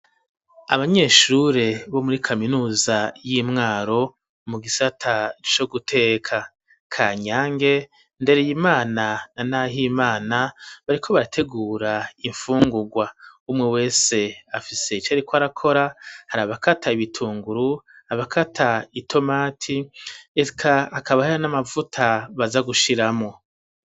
Abanyeshure bo muri kaminuza y'imwaro mu gisata co guteka ka nyange ndere ye imana na, naho imana bariko barategura imfungurwa umwe wese afise ico, ariko arakora hari abakata bitunguru abakata i tomati eka akabahara n'amavuta baza gushiramo.